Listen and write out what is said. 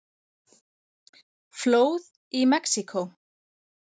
Flóð í Mexíkó